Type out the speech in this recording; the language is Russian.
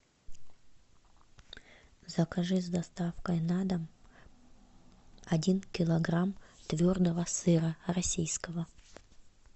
закажи с доставкой на дом один килограмм твердого сыра российского